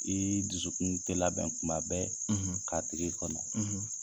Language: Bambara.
I y'i dusukun labɛn tun bɛɛ k'a tigi kɔnɔ.